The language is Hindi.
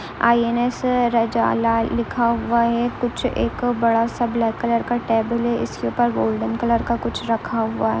आई एन एस लिखा हुआ है। कुछ एक बड़ा सा ब्लैक कलर का टेबल है इसके ऊपर गोल्डन कलर का कुछ रखा हुआ है।